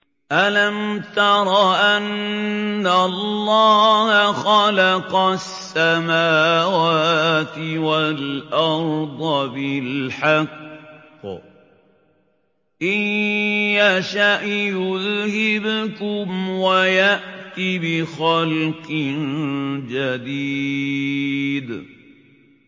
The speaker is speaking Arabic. أَلَمْ تَرَ أَنَّ اللَّهَ خَلَقَ السَّمَاوَاتِ وَالْأَرْضَ بِالْحَقِّ ۚ إِن يَشَأْ يُذْهِبْكُمْ وَيَأْتِ بِخَلْقٍ جَدِيدٍ